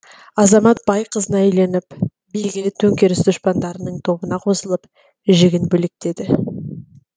азамат бай қызына үйленіп белгілі төңкеріс дұшпандарының тобына қосылып жігін бөлектеді